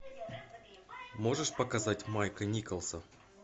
можешь показать майка николса